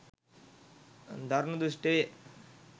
දරුණු දුෂ්ට වේ.